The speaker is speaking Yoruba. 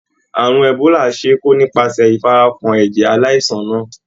Àrùn Ebola ṣe é kó nípasẹ̀ ìfarakàn ẹ̀jẹ̀ aláìsàn náà.